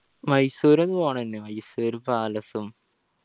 മൈസൂർ ഒന്ന് പോണേനു മൈസൂർ palace ഉം